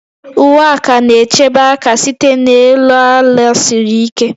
Uwe aka na-echebe aka site n'elu ala siri ike